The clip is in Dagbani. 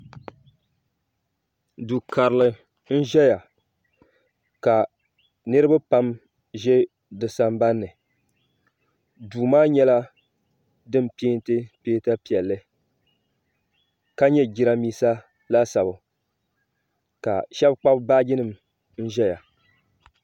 do kari n ʒɛya ka niriba pam ʒɛ disambani so maa nyɛla din pɛntɛ pɛnta piɛli ka nyɛ jarinibɛsa laasabu ka shɛbi kpabi be baaji nim ʒɛya